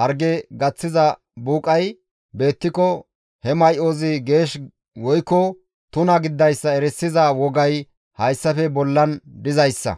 harge gaththiza buuqay beettiko he may7ozi geesh woykko tuna gididayssa erisiza wogay hayssafe bollan dizayssa.